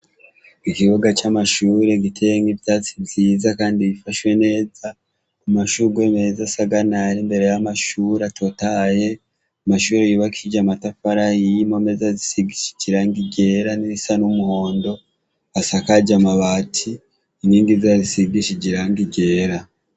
Ikibuga c'amashure giteyemwo ivyatsi vyiza kandi bifashwe neza, amashurwe meza, asaganaye ari imbere y'amashure atotahaye, amashure yubakishije amatafari ahiye, imeza zisigishije irangi ryera n'irisa n'umuhondo, asakaje amabati, inkingi zayo zisigishije irangi ryera.